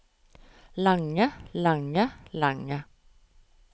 lange lange lange